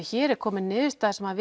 hér sé komin niðurstaða sem